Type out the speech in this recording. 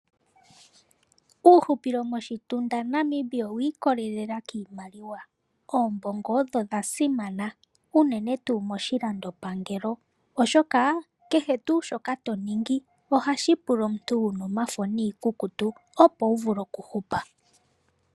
Uuhupilo moshitundu Namibia iimaliwa odho dha simana unene tuu moshilandopangelo, oshoka kehe tuu shoka to ningi ohashi pula omuntu wuna omafo niikukutu opo wu vule oku hupa.